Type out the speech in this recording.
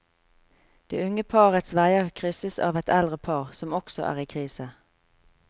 Det unge parets veier krysses av et eldre par, som også er i krise.